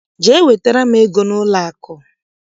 Jee wetara m ego n'ụlọakụ!